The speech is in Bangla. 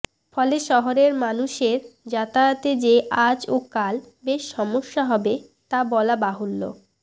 ফলে শহরের মানুষের যাতায়াতে যে আজ ও কাল বেশ সমস্যা হবে তা বলা বাহুল্য